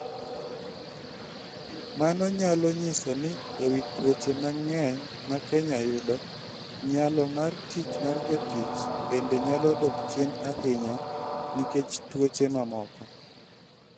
Mano nyalo nyiso ni e wi tuoche mang'eny ma Kenya yudo, nyalo mar tich mar jotich bende nyalo dok chien ahinya nikech tuoche mamoko.